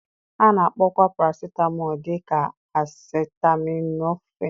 A na-akpọkwa paracetamol dị ka acetaminophen.